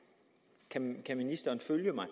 kan ministeren følge mig